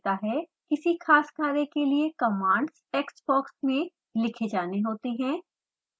किसी खास कार्य के लिए commands टेक्स्ट बॉक्स में लिखे जाने होते हैं